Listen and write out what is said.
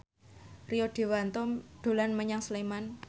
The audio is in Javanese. Rio Dewanto dolan menyang Sleman